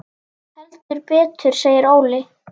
Heldur betur segir Óli.